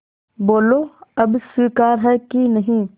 बोलो अब स्वीकार है कि नहीं